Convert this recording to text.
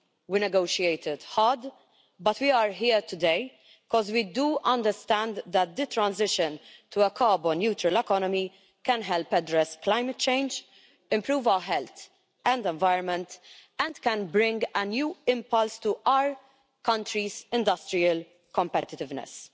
We negotiated hard, but we are here today because we do understand that the transition to a carbon-neutral economy can help address climate change, improve our health and environment, and can bring a new impulse to our countries' industrial competitiveness.